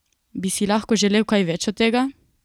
Bi si lahko želel kaj več od tega?